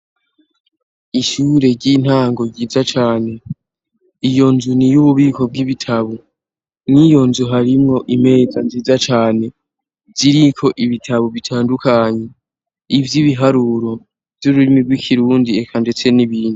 Ishure ry'intango ryiza cane. Iyo nzu ni iy'ububiko bw'ibitabo. Mw'iyo nzu harimwo imeza nziza cane ziriko ibitabo bitandukanye. Ivy'ibiharuro, ivy'ururimi rw'ikirundi eka ndetse n'ibindi.